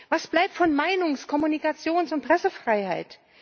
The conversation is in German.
Was bleibt von Meinungs Kommunikations und Pressefreiheit?